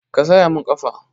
Ka saya mun ƙafa!